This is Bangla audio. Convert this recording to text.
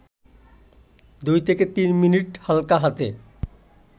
২-৩ মিনিট হালকা হাতে